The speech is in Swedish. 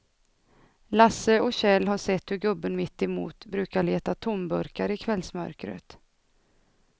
Lasse och Kjell har sett hur gubben mittemot brukar leta tomburkar i kvällsmörkret.